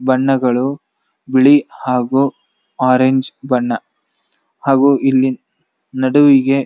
ಬಣ್ಣಗಳು ಬಿಳಿ ಹಾಗು ಒರೆಂಜ್ ಬಣ್ಣ ಹಾಗು ಇಲ್ಲಿ ನಡುವಿಗಿ --